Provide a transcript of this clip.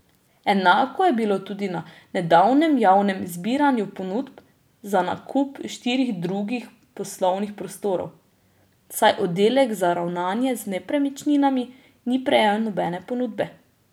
Enako je bilo tudi na nedavnem javnem zbiranju ponudb za nakup štirih drugih poslovnih prostorov, saj oddelek za ravnanje z nepremičninami ni prejel nobene ponudbe.